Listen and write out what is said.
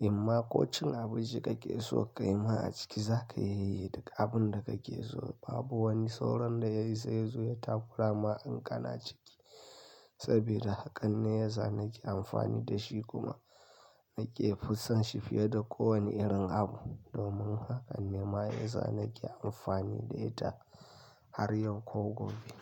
In ma ko cin abinci kake so ka yi ma a ciki za ka iya, yi duk abin da kake so. Babu wani sauron da ya isa ya zo ya takura ma in kana ciki. Sabida hakan ne yasa nake amfani da shi kuma nake fusan shi fiye da kowane irin abu. Domin haka ne ma yanzu nake amfani da ita har yau ko gobe.